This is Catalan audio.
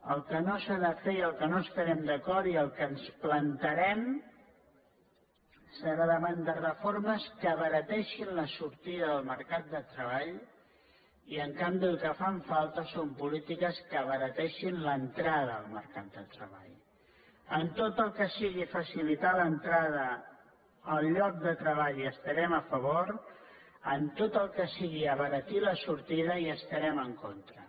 el que no s’ha de fer i amb el que no estarem d’acord i en el que ens plantarem serà davant de refor·mes que abarateixin la sortida del mercat de treball i en canvi el que fan falta són polítiques que abarateixin l’entradalitar l’entrada al lloc de treball hi estarem a favor en tot el que sigui abaratir la sortida hi estarem en contra